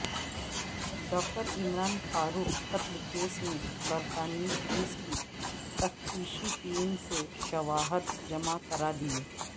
ڈاکٹرعمران فاروق قتل کیس میں برطانوی پولیس کی تفتیشی ٹیم نے شواہد جمع کرادیئے